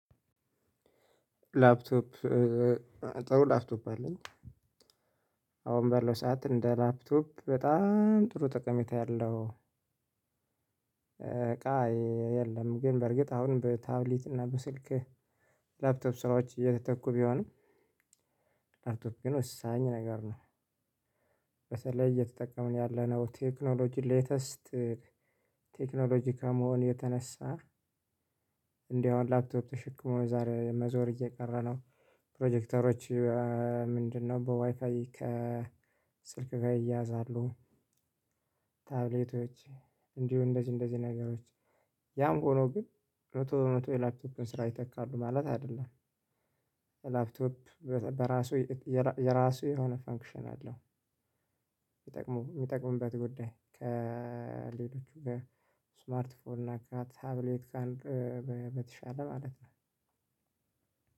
ላፕቶፕ ጥሩ ላፕቶፕ አለኝ። አሁን ባለው ሰዓት እንደ ላፕቶፕ በጣም ጥሩ ጠቀሜታ ያለው እቃ የለም። ግን በርግጥ አሁን በታብሌት እና በስልክ ላፕቶፕ ስራዎች እየተተኩ ቢሆንም ላፕቶፕ ወሳኝ ነገር ነው። በተለይ እየተጠቀምን ያለነው ቴክኖሎጂ ሌተስት ቴክኖሎጂ ከመሆኑ የተነሳ። እንዳውም ላፕቶፕ ተሸክሞ ዛሬ መዞር እየቀረ ነው። ፕሮጀክተሮች ምንድነው? በዋይፋይ ከስልክ ጋር ይያያዛሉ። ታብሌቶች እንዲሁ እንደዚህ እንደዚህ ነገሮች ያም ሆኖ ግን መቶ በመቶ የላፕቶፕን ስራ ይተካሉ ማለት አይደለም። ላፕቶፕ በራሱ የራሱ የሆነ ፈንክሽን አለው። የሚጠቅሙ የሚጠቅሙበት ጉዳይ ከሌሎቹ ጋር ስማርት ፎንና ታብሌት በተሻለ ማለት ነው።